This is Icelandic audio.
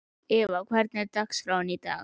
Eva, hvernig er dagskráin í dag?